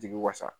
Jigi wasa